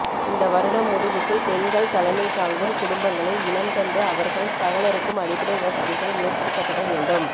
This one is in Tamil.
இந்த வருடம் முடிவுக்குள் பெண்கள் தலமைதாங்கும் குடும்பங்களை இனம் கண்டு அவர்கள் சகலருக்கும் அடிப்படை வசதிகள் ஏற்படுத்தப்பட வேண்டும்